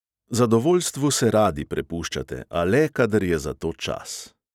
Zadovoljstvu se radi prepuščate, a le, kadar je za to čas.